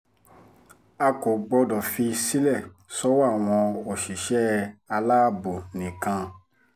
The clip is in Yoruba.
a kò gbọ́dọ̀ fi sílẹ̀ sọ́wọ́ àwọn òṣìṣẹ́ aláàbò nìkan